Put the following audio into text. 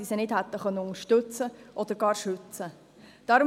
Sie hätten sie nicht unterstützen oder schützen können.